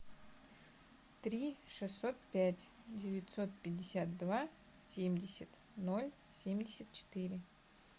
три шестьсот пять девятьсот пятьдесят два семьдесят ноль семьдесят четыре